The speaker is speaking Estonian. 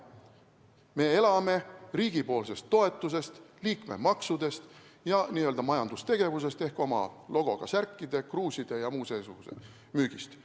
Me elame riigi toetusest, liikmemaksudest ja n-ö majandustegevusest ehk oma logoga särkide, kruuside ja muu seesuguse müügist.